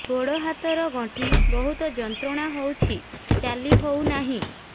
ଗୋଡ଼ ହାତ ର ଗଣ୍ଠି ବହୁତ ଯନ୍ତ୍ରଣା ହଉଛି ଚାଲି ହଉନାହିଁ